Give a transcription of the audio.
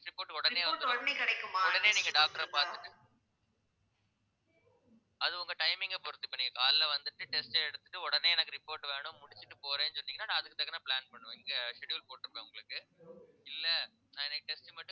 test report உடனே வந்துரும் உடனே நீங்க doctor பாத்துட்டு அது உங்க timing அ பொறுத்து இப்போ நீங்க காலையில வந்துட்டு test எடுத்துட்டு உடனே எனக்கு report வேணும் முடிச்சிட்டு போறேன்னு சொன்னீங்கன்னா நான் அதுக்கு தகுந்த plan பண்ணுவேன் இங்க schedule போட்டு இருப்பேன் உங்களுக்கு இல்லை நான் இன்னைக்கு test மட்டும்